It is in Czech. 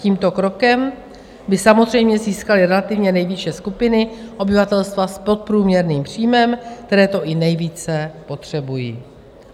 Tímto krokem by samozřejmě získaly relativně nejvýše skupiny obyvatelstva s podprůměrným příjmem, které to i nejvíce potřebují.